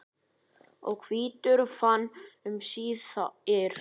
og hvítur vann um síðir.